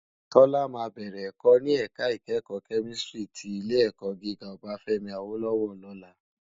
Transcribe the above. Tola má bèrè èkò ni èká ikèékò kèmìstrí ti Ilé èkò gigá Obafemi Awolowo lòlá